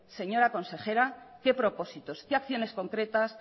señora consejera qué propósitos qué acciones concretas